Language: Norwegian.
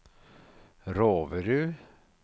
Roverud